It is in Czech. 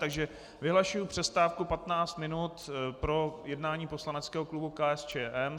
Takže vyhlašuji přestávku 15 minut pro jednání poslaneckého klubu KSČM.